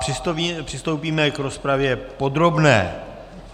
Přistoupíme k rozpravě podrobné.